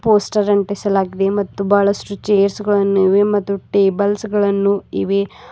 Poster ಅಂಟಿಸಲಾಗಿದೆ ಮತ್ತು ಬಹಳಷ್ಟು ಚೇರಗಳನ್ ಇವೆ ಮತ್ತು ಟೇಬಲ್ಸ್ ಗಳನ್ನು ಇವೆ.